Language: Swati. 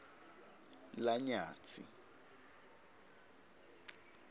lanyatsi